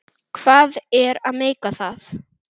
Hvað er að meika það?